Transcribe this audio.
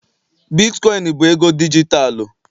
Bitkoin bụ ego dijitalụ